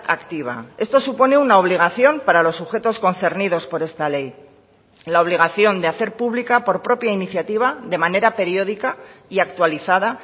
activa esto supone una obligación para los sujetos concernidos por esta ley la obligación de hacer pública por propia iniciativa de manera periódica y actualizada